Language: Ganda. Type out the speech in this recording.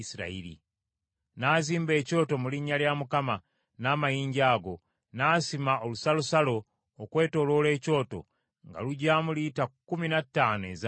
N’azimba ekyoto mu linnya lya Mukama n’amayinja ago, n’asima olusalosalo okwetooloola ekyoto, ng’alugyamu lita kkumi na ttaano ez’amazzi.